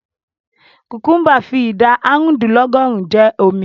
Kùkúḿbà fi ìdá àrùndínlọ́gọ́rùn-ún jẹ́ omi.